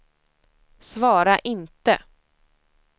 svara inte